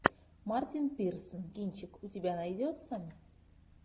мартин пирсон кинчик у тебя найдется